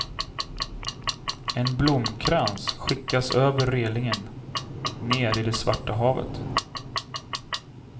En blomkrans skickas över relingen, ner i det svarta havet.